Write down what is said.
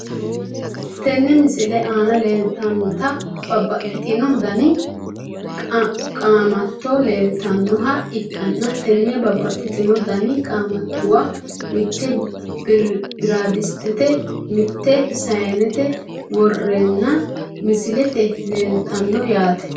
Tene misilete aana leeltanota babaxitino dani qaamato leeltanoha ikanna tene babaxitino dani qaamatuwa mite biradistete mite sayiinete woreena misilete leeltano yaate.